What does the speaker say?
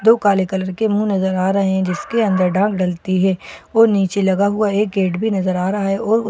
दो काले कलर के मुंह नजर आ रहे हैं जिसके अंदर डाल डलती है और नीचे लगा हुआ एक गेट भी नजर आ रहा है और--